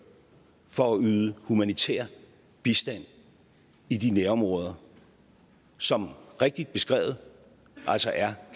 for at yde humanitær bistand i de nærområder som rigtigt beskrevet altså er